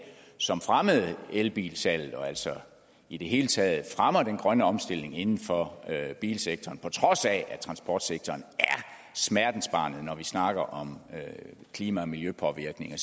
som fremmede elbilsalget og som altså i det hele taget fremmer den grønne omstilling inden for bilsektoren på trods af at transportsektoren er smertensbarnet når vi snakker om klima og miljøpåvirkninger